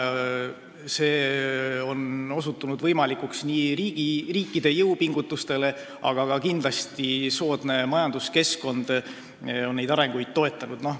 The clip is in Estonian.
See on osutunud võimalikuks riikide jõupingutuste tõttu, aga kindlasti on ka soodne majanduskeskkond neid arenguid toetanud.